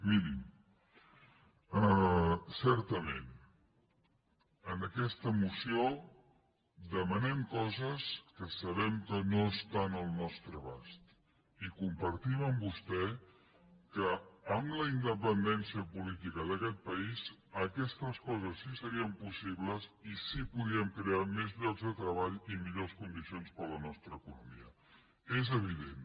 mirin certament en aquesta moció demanem coses que sabem que no estan al nostre abast i compartim amb vostè que amb la independència política d’aquest país aquestes coses sí que serien possibles i sí que podríem crear més llocs de treball i millors condicions per a la nostra economia és evident